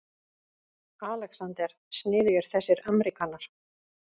ALEXANDER: Sniðugir þessir ameríkanar.